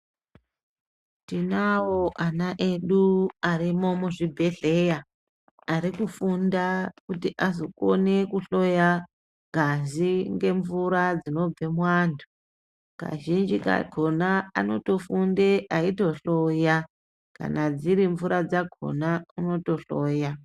Tinavo ana edu arimo muzvibhedhleya arikufunda kuti azokone kuhloya ngazi ngemvura dzinobve muvantu kazhinji kakona anotofunde eyito hloya kana dziri mvura dzakona anoto hloya.